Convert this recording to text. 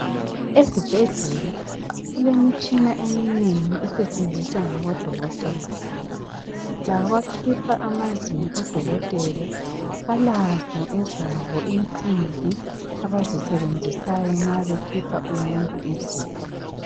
Ezibhedlela kulemitshina eminengi esetshenziswa ngabodokotela labakhipha amazinyo odokotela balazo ezabo insimbi abazisebenzisayo nxa bekhipha umuntu izinyo.